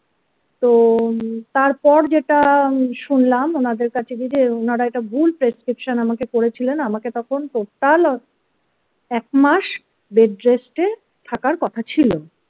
তো তারপর যেটা শুনলাম ওনাদের কাছে যদি ওনারা এটা ভুল prescription আমাকে করেছিলেন আমাকে তখন টোটাল একমাস বেডরেস্টে থাকার কথা ছিল।